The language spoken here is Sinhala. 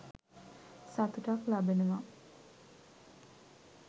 සතුටක් ලබනවා.